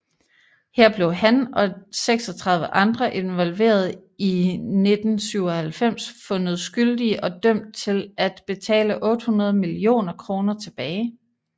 Her blev han og 36 andre involverede i 1997 fundet skyldige og dømt til at betale 800 millioner kroner tilbage